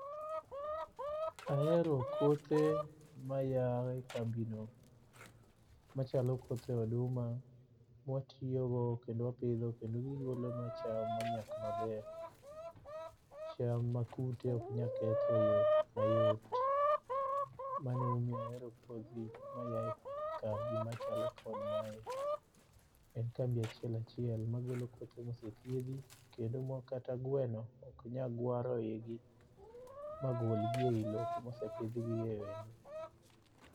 Ahero kothe maya e kambi no. Machalo kothe oduma ma watiyogo kendo wapidho kendo gigolobnwa cham monyak maber. Cham ma kute ok nyal ketho e yo mayot. Mano emo miyo ahero kodhi ma ya e kambi machalo kod mae. En kambi achiel achiel ma golo kodhi mosethiedhi. Kendo makata gweno ok nya gwaro iyi ma gol gi e yi lo kosepidh gi e yi lo.